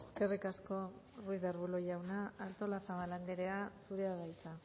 eskerrik asko ruiz de arbulo jauna artolazabal anderea zurea da hitza